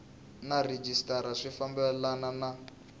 na rhejisitara swi fambelena na